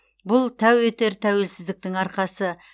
бұл тәу етер тәуелсіздіктің арқасы